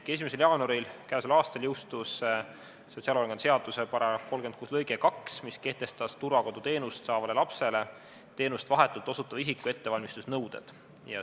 Käesoleva aasta 1. jaanuaril jõustus sotsiaalhoolekande seaduse § 36 lõige 2, mis kehtestas turvakoduteenust saavale lapsele teenust vahetult osutava isiku ettevalmistusnõuded.